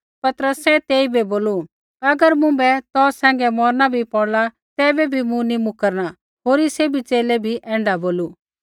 पतरसै तेइबै बोलू अगर मुँभै तौ सैंघै मौरना भी पौड़ला तैबै भी मूँ नी मुकरना होरी सैभी च़ेले भी ऐण्ढा बोलू